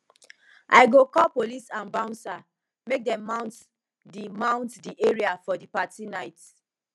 i go call police and bouncer make dem mount di mount di area for di party night